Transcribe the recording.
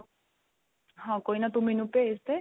ਹਾਂ ਕੋਈ ਨਾਂ ਤੂੰ ਮੈਂਨੂੰ ਭੇਜਦੇ